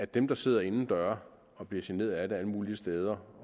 dem der sidder indendøre og bliver generet af det alle mulige steder